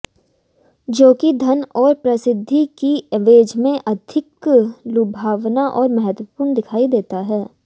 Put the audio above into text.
जो कि धन और प्रसिद्धि की एवज में अधिक लुभावना और महत्त्वपूर्ण दिखाई देता है